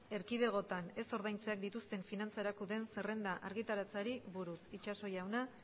erkidegoetan ez ordaintzeak dituzten finantza erakundeen zerrenda argitaratzeari buruz itxaso jauna